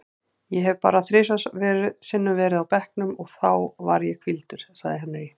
Ég hef bara þrisvar sinnum verið á bekknum og þá var ég hvíldur, sagði Henry.